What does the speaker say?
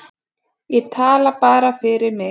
Ég tala bara fyrir mig.